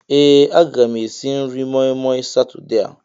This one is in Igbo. Ee a ga m esi nri moi moi Satọde a.